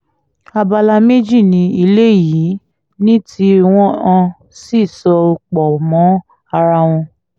abala méjì ni ilé yìí ní tí wọ́n sì so pọ̀ mọ́ ara wọn